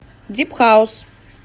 дип хаус